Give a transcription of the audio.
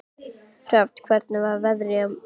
Hrafna, hvernig er veðrið á morgun?